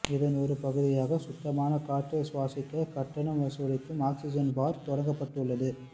இதன் ஒரு பகுதியாக சுத்தமான காற்றை சுவாசிக்க கட்டணம் வசூலிக்கும் ஆக்சிஜன் பார் தொடங்கப்பட்டுள்ளது